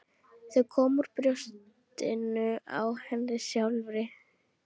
Þau komu úr brjóstinu á henni sjálfri!